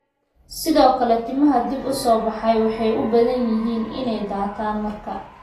Sidoo kale, timaha dib u soo baxay waxay u badan tahay inay daataan marka corticosteroids la joojiyo.